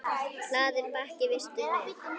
Hlaðinn bakki vistum er.